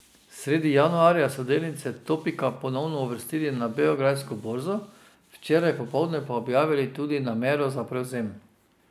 Sredi januarja so delnice Topika ponovno uvrstili na beograjsko borzo, včeraj popoldne pa objavili tudi namero za prevzem.